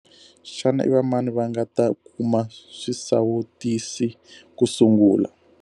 Xana i va mani va nga ta kuma swisawutisi ku sungula?